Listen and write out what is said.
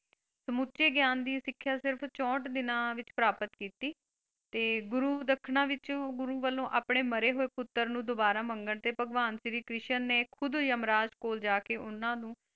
ਸਮੁੱਚੇ ਗਿਆਨ ਦੀ ਸਿੱਖਿਆ ਸਿਰਫ ਚੌਂਠ ਦਿਨਾਂ ਵਿੱਚ ਪ੍ਰਾਪਤ ਕੀਤੀ ਤੇ ਗੁਰੂ ਦੱਖਣਾ ਵਿੱਚ ਗੁਰੂ ਵਲੋਂ ਆਪਣੇ ਮਰੇ ਹੋਏ ਪੁੱਤਰ ਨੂੰ ਦੋਬਾਰਾ ਮੰਗਣ ਤੇ ਭਗਵਾਨ ਸ਼੍ਰੀ ਕ੍ਰਿਸ਼ਨ ਨੇ ਖੁੱਦ ਯਮਰਾਜ ਕੋਲ ਜਾਕੇ ਉਹਨਾਂ ਨੂੰ,